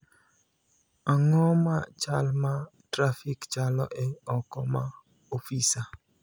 Ang�o ma chal ma trafik chalo e oko ma ofisa?